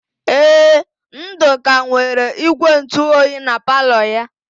Ee, Ndụka nwere ígwèntụoyi na palọ ya.